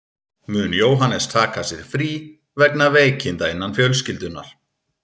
Mun Jóhannes taka sér frí vegna veikinda innan fjölskyldunnar.